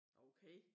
Okay